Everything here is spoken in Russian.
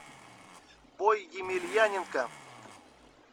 бой емельяненко